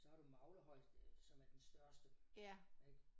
Så har du Maglehøj som er den største ik